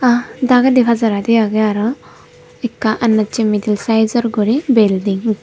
ahaa degedi pajaradi agey aro akka adassi middle saijor gori building.